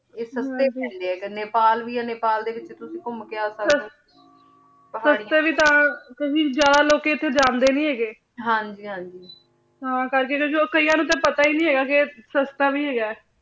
ਈਯ ਸਸਤੇ ਪੈਂਡੇ ਆਯ ਨੈਪਾਲ ਵੀ ਆ ਨੈਪਾਲ ਦੇ ਵਿਚ ਅਗਰ ਤੁਸੀਂ ਘੁਮ ਕੇ ਆਓ ਸਸਤੇ ਵੀ ਤਾਂ ਕ੍ਯੂ ਕੇ ਜਿਆਦਾ ਲੋਕੀ ਏਤ੍ਹੂੰ ਜਾਂਦੇ ਨਾਈ ਹੇਗੇ ਹਾਂਜੀ ਹਾਂਜੀ ਹਾਂ ਕਰ ਕੀ ਕਿਯਾਨ ਨੂ ਤਾਂ ਆਯ ਪਤਾ ਵੀ ਨਾਈ ਹੇਗਾ ਕੇ ਆਯ ਸਸਤਾ ਵੀ ਹੇਗਾ ਆਯ